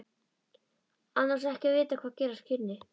Annars ekki að vita hvað gerast kynni.